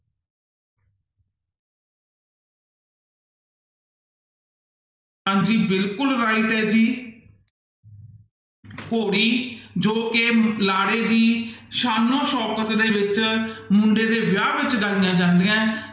ਹਾਂਜੀ ਬਿਲਕੁਲ right ਹੈ ਜੀ ਘੋੜੀ ਜੋ ਕਿ ਲਾੜੇ ਦੀ ਸਾਨੋ ਸ਼ੋਕਤ ਦੇ ਵਿੱਚ ਮੁੰਡੇ ਦੇ ਵਿਆਹ ਵਿੱਚ ਗਾਈਆਂ ਜਾਂਦੀਆਂ ਹੈ,